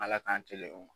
Ala k'an telehon